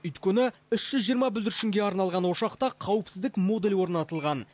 өйткені үш жүз жиырма бүлдіршінге арналған ошақта қауіпсіздік модулі орнатылған